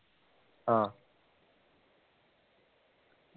ആഹ്